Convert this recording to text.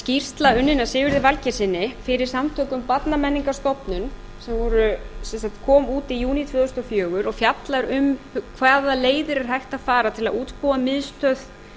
skýrsla unnin af sigurði valgeirssyni fyrir samtök um barnamenningarstofnun sem kom út í júní tvö þúsund og fjögur og fjallar um hvaða leiðir er hægt að fara til að útbúa miðstöð